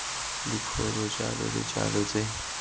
dikgolo jalo le jalo tse